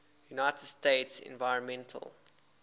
united states environmental